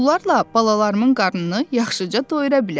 Bunlarla balalarımın qarnını yaxşıca doyura bilərəm.